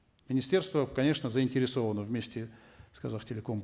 министерство конечно заинтересовано вместе с казахтелекомом